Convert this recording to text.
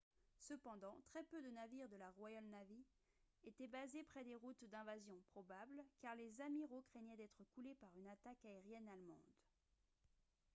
cependant très peu de navires de la royal navy étaient basés près des routes d'invasion probables car les amiraux craignaient d'être coulés par une attaque aérienne allemande